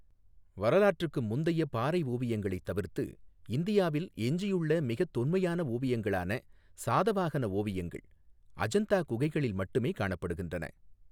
வரலாற்றுக்கு முந்தைய பாறை ஓவியங்களைத் தவிர்த்து இந்தியாவில் எஞ்சியுள்ள மிகத் தொன்மையான ஓவியங்களான சாதவாகன ஓவியங்கள் அஜந்தா குகைகளில் மட்டுமே காணப்படுகின்றன.